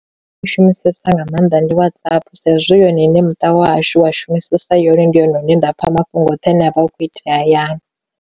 U shumisesa nga maanḓa ndi WhatsApp sa izwi yone iṋe muṱa wa hashu wa shumisesa yone ndi hone hune nda pfha mafhungo oṱhe ane avha hukho itea hayani.